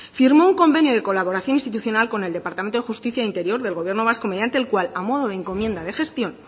firmó un convenio de colaboración institucional con el departamento de justicia e interior del gobierno vasco mediante el cual a modo de encomienda de gestión